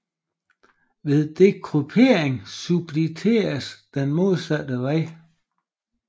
Ved dekryptering substitueres den modsatte vej